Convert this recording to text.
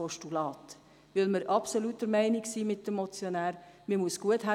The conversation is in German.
Das glaube ich einfach nicht.